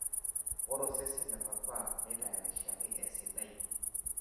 ore osesen le papa netayarishaki esiadi